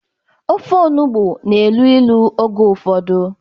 Ofe-onugbo na-elu ilu oge ụfọdụ.